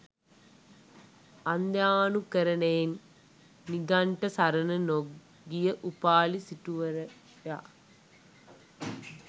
අන්ධාණුකරණයෙන් නිගණ්ඨ සරණ නො ගිය උපාලි සිටුවරයා